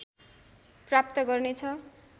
प्राप्त गर्नेछ